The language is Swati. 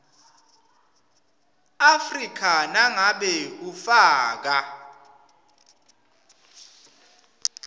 afrika nangabe ufaka